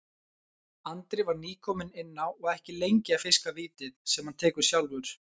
Andri var nýkominn inn á og ekki lengi að fiska vítið, sem hann tekur sjálfur.